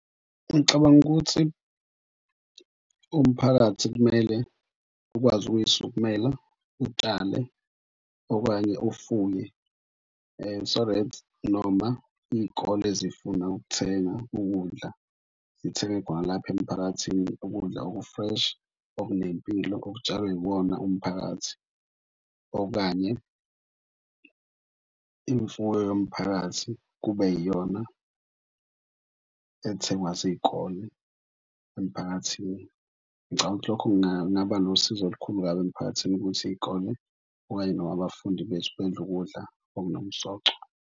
Ngicabanga ukuthi umphakathi kumele ukwazi ukuyisukumela, utshale okanye ufuye. So that noma iy'kole zifuna ukuthenga ukudla zithenge lapha emphakathini ukudla oku-fresh, okunempilo okutshalwe iwona umphakathi. Okanye imfuyo yomphakathi kube iyona ethengwa zikole emphakathini. Ngicabanga ukuthi lokho kungaba nosizo olukhulu kabi emphakathini ukuthi iy'kole okanye noma abafundi bethu bedle ukudla okunomsoco.